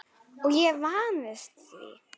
Og ég vandist því.